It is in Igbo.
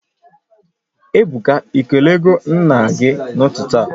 Ebuka, Ị kelego nna gị n'ụtụtụ a?